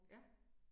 Ja